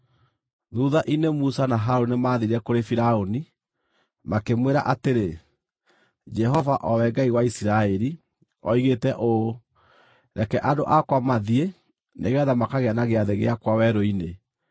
Thuutha-inĩ Musa na Harũni nĩmathiire kũrĩ Firaũni, makĩmwĩra atĩrĩ, “Jehova, o we Ngai wa Isiraeli, oigĩte ũũ: ‘Reke andũ akwa mathiĩ, nĩgeetha makagĩe na gĩathĩ gĩakwa werũ-inĩ.’ ”